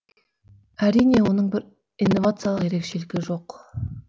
әрине оның бір инновациялық ерекшелігі жоқ